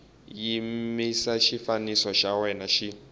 yimisa xifambo xa wena xi